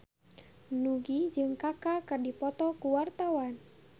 Nugie jeung Kaka keur dipoto ku wartawan